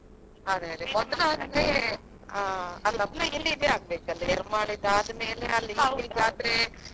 ಹಾ ಹಾ ಹಾಗೆ, ಅದೇ ಅದೇ ಮೊದ್ಲು ಅಂದ್ರೆ ಇಲ್ಲಿದೆ ಆಗ್ಬೇಕು Yermal ದ್ದೂ ಆದ್ಮೇಲೆ.